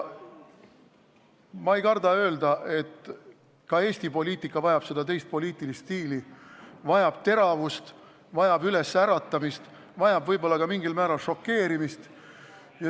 Ma ei karda öelda, et ka Eesti poliitika vajab seda teist poliitilist stiili, vajab teravust, vajab ülesäratamist, vajab võib-olla ka mingil määral šokeerimist.